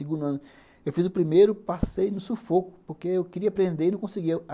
Eu fiz o primeiro, passei no sufoco, porque eu queria aprender e não conseguia.